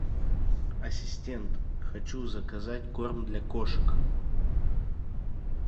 ассистент хочу заказать корм для кошек